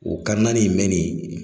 O naani in mɛnni